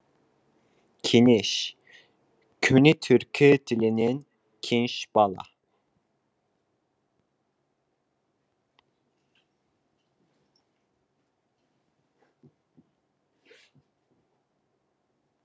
кенеш көне түркі тілінен кенш бала